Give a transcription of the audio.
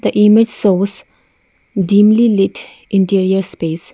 image shows deemly lit interior space.